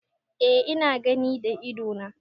Eh ina gani da ido na.